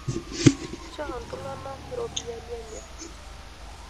Nchoo iltung'ana rpoiyiani enye.